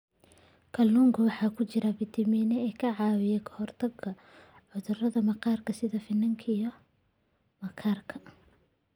Kalluunka waxaa ku jira fiitamiin e ka caawiya ka hortagga cudurrada maqaarka sida finanka iyo maqaarka.